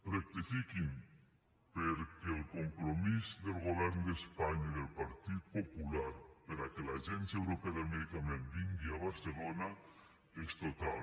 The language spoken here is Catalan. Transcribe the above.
rectifiquin perquè el compromís del govern d’espanya i del partit popular perquè l’agència europea del medicament vingui a barcelona és total